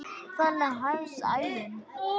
Þannig hefst ævin.